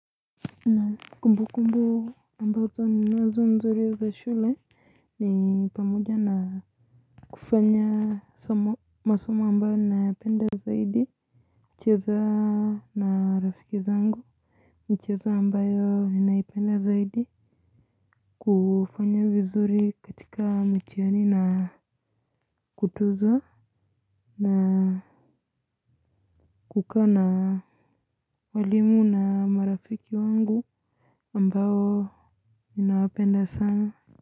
Naam kumbukumbu ambazo ninazo nzuri za shule ni pamoja na kufanya masamo ambayo ninayapenda zaidi kucheza na rafiki zangu michezo ambayo ninaipenda zaidi kufanya vizuri katika mitihani na kutuzwa na kukaa na walimu na marafiki wangu ambao ninawapenda sana.